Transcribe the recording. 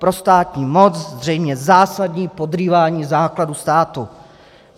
Pro státní moc zřejmě zásadní podrývání základů státu.